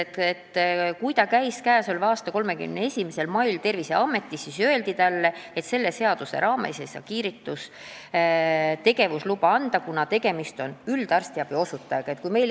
Nimelt, kui ta käis selle aasta 31. mail Terviseametis, siis öeldi talle, et selle seaduse raames ei saa kiirgustegevusluba anda, kuna tegemist on üldarstiabi osutajaga.